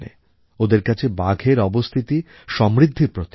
ওদের কাছে বাঘের অবস্থিতি সমৃদ্ধির প্রতীক